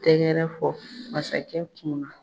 Tɛgɛrɛ fɔ masakɛ kunna.